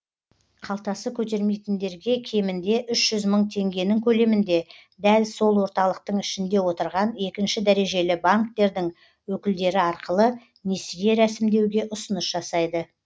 қалтасы көтермейтіндерге кемінде үш жүз мың теңгенің көлемінде дәл сол орталықтың ішінде отырған екінші дәрежелі банктердің өкілдері арқылы несие рәсімдеуге ұсыныс жасайды